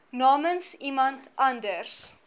namens iemand anders